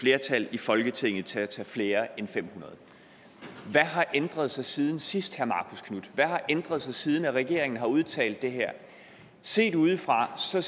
flertal i folketinget til at tage flere end de fem hundrede hvad har ændret sig siden sidst hvad har ændret sig siden regeringen har udtalt det her set udefra ser